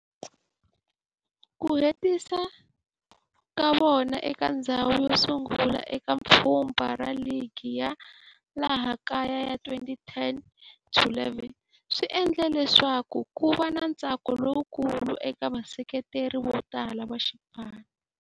Ku hetisa ka vona eka ndzhawu yosungula eka pfhumba ra ligi ya laha kaya ya 2010-11 swi endle leswaku kuva na ntsako lowukulu eka vaseketeri votala va xipano.